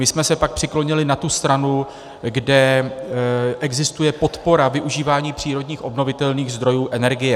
My jsme se pak přiklonili na tu stranu, kde existuje podpora využívání přírodních obnovitelných zdrojů energie.